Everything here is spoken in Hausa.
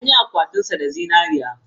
An yi akwatinsa da zinariya.